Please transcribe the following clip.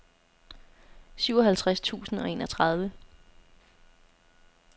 syvoghalvtreds tusind og enogtredive